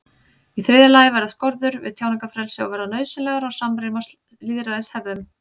Í þriðja lagi verða skorður við tjáningarfrelsi að vera nauðsynlegar og samrýmast lýðræðishefðum.